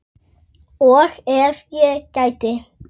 Og ef ég gæti.?